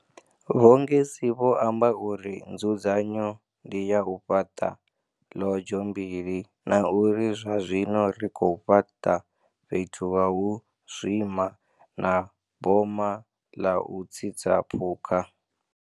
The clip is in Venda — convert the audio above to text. Vho Ngesi vho amba uri nzudzanyo ndi ya u fhaṱa ḽodzho mbili na uri zwa zwino ri khou fhaṱa fhethu ha u zwima na boma ḽa u tsitsa phukha.